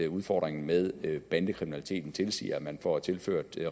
udfordringen med bandekriminaliteten tilsiger at man får tilført